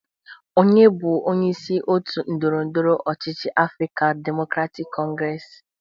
Onye bụ onyeisi otu ndọrọndọrọ ọchịchị Afrịkan Demokratik Kọngres?